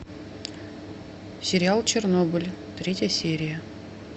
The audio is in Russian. сериал чернобыль третья серия